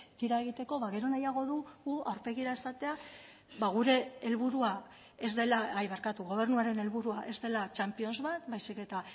tira egiteko ba gero nahiago dugu aurpegira esatea gobernuaren helburua ez dela champions bat baizik eta